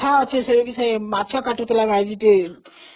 କଥା ଅଛି ସେ ମାଛ କଟୁଥିଲା